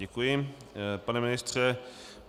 Děkuji, pane ministře.